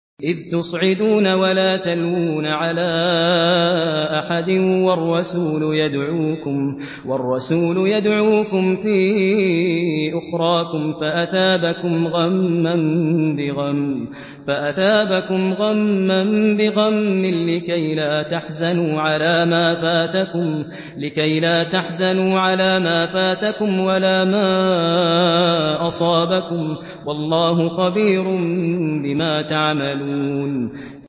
۞ إِذْ تُصْعِدُونَ وَلَا تَلْوُونَ عَلَىٰ أَحَدٍ وَالرَّسُولُ يَدْعُوكُمْ فِي أُخْرَاكُمْ فَأَثَابَكُمْ غَمًّا بِغَمٍّ لِّكَيْلَا تَحْزَنُوا عَلَىٰ مَا فَاتَكُمْ وَلَا مَا أَصَابَكُمْ ۗ وَاللَّهُ خَبِيرٌ بِمَا تَعْمَلُونَ